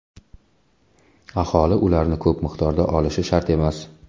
Aholi ularni ko‘p miqdorda olishi shart emas.